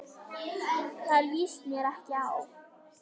Það líst mér ekki á.